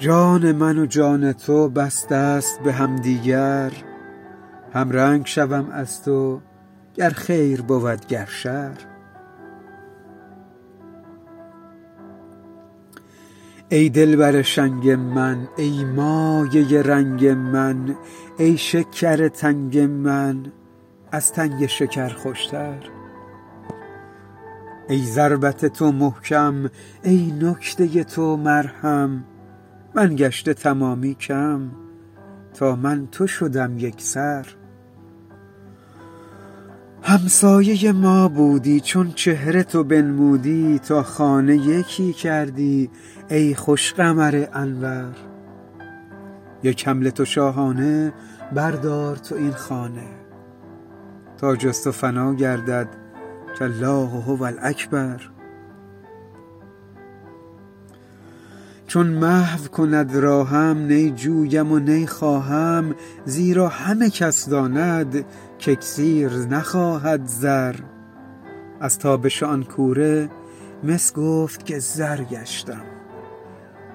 جان من و جان تو بستست به همدیگر همرنگ شوم از تو گر خیر بود گر شر ای دلبر شنگ من ای مایه رنگ من ای شکر تنگ من از تنگ شکر خوشتر ای ضربت تو محکم ای نکته تو مرهم من گشته تمامی کم تا من تو شدم یک سر همسایه ما بودی چون چهره تو بنمودی تا خانه یکی کردی ای خوش قمر انور یک حمله تو شاهانه بردار تو این خانه تا جز تو فنا گردد کالله هو الاکبر چون محو کند راهم نی جویم و نی خواهم زیرا همه کس داند که اکسیر نخواهد زر از تابش آن کوره مس گفت که زر گشتم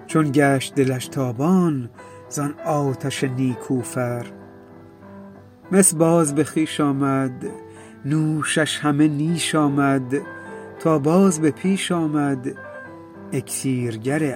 چون گشت دلش تابان زان آتش نیکوفر مس باز به خویش آمد نوشش همه نیش آمد تا باز به پیش آمد اکسیرگر اشهر